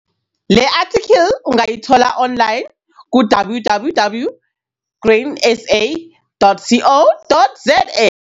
Le athikhili ungayithola online ku-- www.grainsa.co.za